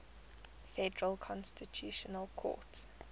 federal constitutional court